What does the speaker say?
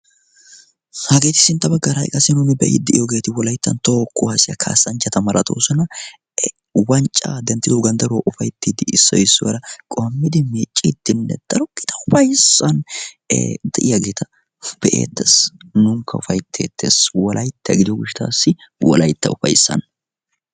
Hageeti sintta baggaara qassi nuuni be'i de'iyoogeeti wolayttan toa qu haasiyaa kaassanchchata maratoosuna wanccaa denttido ganddaruwoa ufaittiiddi issoi issuwaara qohammidi miicciid dinne daro gita ufayssan e xe'iyaagieta be'eettees. nuunikka ufaitteettees wolaitta gidio goshttaassi wolaytta ufaissan